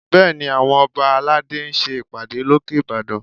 Bẹ́ẹ̀ni, àwọn ọba aládé ń ṣe ìpàdé lókè Ìbàdàn